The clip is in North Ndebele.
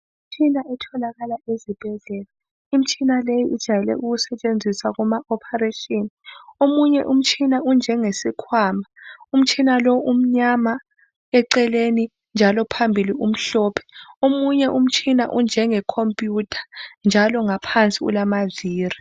Imitshina otholakala esibhedlela. Umitshina leyi ijwayele ukusetshenziswa kuma ophareshini. Omunye umtshina unje ngasikwama. Umtshina lo umnyama eceleni, njalo phambili omhlophe. Omunye umtshina unjenge khomphuyutha njalo ngaphansi ulamavili.